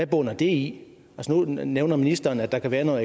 bunder i i nu nævner ministeren at der kan være noget